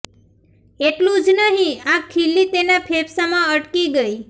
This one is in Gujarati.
એટલું જ નહીં આ ખિલ્લી તેના ફેંફસામાં અટકી ગઇ